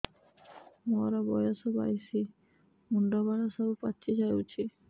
ମୋର ବୟସ ବାଇଶି ମୁଣ୍ଡ ବାଳ ସବୁ ପାଛି ଯାଉଛି